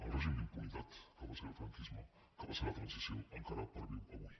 el règim d’impunitat que va ser el franquisme que va ser la transició encara perviu avui